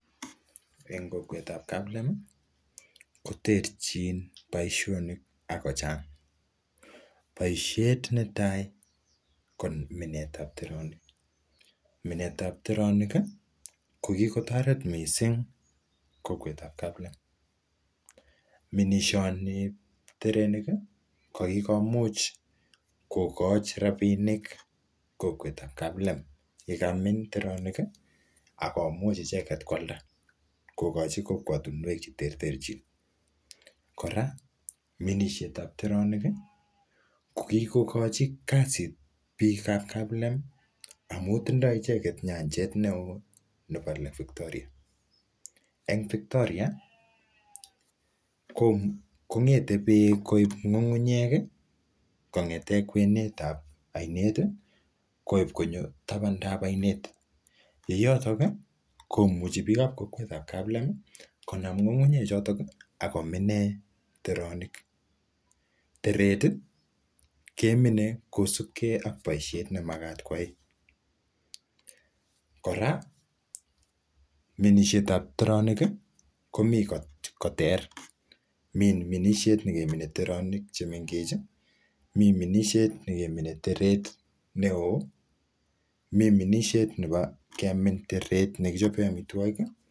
En kokwetab kaplem koterchin boisionik akochang boisiet netai ko minetab teronik, minetab teronik kokikotoret missing kokwetab kaplem minishonieb teronik kokikomuch kokochi rapinik kokwetab kaplem yakamin teronik akomuch icheket kwalda kokochi kokwotinywek cheterterchin kora minishetab teronik kokikochi kasit biikab kaplem amun tindoo icheket nyenjet neo nepo lake victoria en victoria kong'ete beek koip ng'ung'unyek kong'eten kwenetab ainet koip konyo tabandab ainet ,yeyoto komuchi biikab kokwetab kaplem konam ng'ung'unyechoton akominen teronik ,teret kemine kosipke ak boisiet nemakat kwai kora minishetab teronik komii koter mi minisiet mi minisiet nekemine teronik chemengechen ,mi minisiet nekemine teret neo, mi minisiet nepo kemin teret nekichope amitwokik.